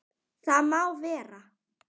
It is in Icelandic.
Það má vera.